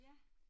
Ja